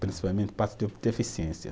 Principalmente deficiência.